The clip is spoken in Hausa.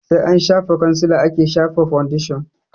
Sai an shafa kwansila ake shafa faundeshin